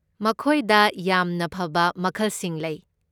ꯃꯈꯣꯏꯗ ꯌꯥꯝꯅ ꯐꯕ ꯃꯈꯜꯁꯤꯡ ꯂꯩ꯫